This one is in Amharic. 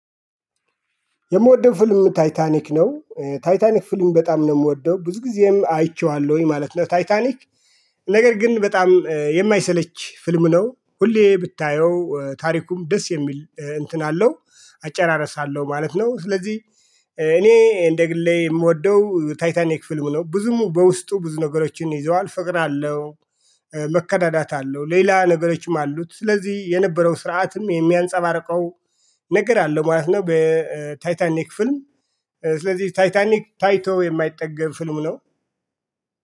የምወደው ፊልም ታይታኒክ ነው ታይታኒክ ፊልም በጣም ነው የምወደው ብዙ ጊዜም አይቼዋለሁኝ ማለት ነው። ታይታኒክ ነገር ግን በጣም የማይሰለች ፊልም ነው ሁሌ ብታየው ታሪኩም ደስ የሚል እንትን አለው አጨራርስ አለሁ ማለት ነው። ስለዚህ እኔ እንደ ግሌ የምወደው ታይታኒክ ፊልም ነው። ብዙም በውስጡ ብዙ ነገሮችን ይዘዋል ፍቅር አለው። መከዳዳት አለው ሌላ ነገሮችም አሉት ስለዚህ የነበረው ስርዓትም የሚያንፀባርቀው። ነገር አለ ማለት ነው። በታይታኒክ ፊልም ስለዚህ ታይታኒክ ታይቶ የማይጠገብ ፊልም ነው